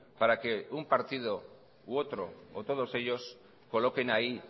para que un partido u otro o todos ellos coloquen ahí